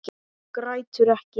Grætur ekki.